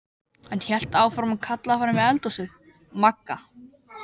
Hann hélt áfram og kallaði fram í eldhúsið: Magga.